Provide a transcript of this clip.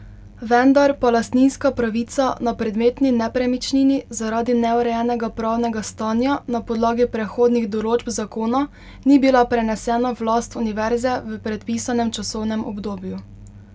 Vendar pa lastninska pravica na predmetni nepremičnini zaradi neurejenega pravnega stanja na podlagi prehodnih določb zakona ni bila prenesena v last univerze v predpisanem časovnem obdobju.